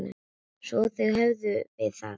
Svo þar höfum við það.